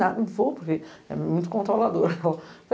Não vou, porque é muito controladora.